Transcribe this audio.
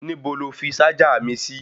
Níbo lo fi ṣájà mi sí?